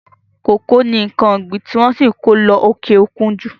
Kòkó ni nǹkan ọ̀gbin tí wọ́n ṣì ǹ kó lọ òkè òkun ju.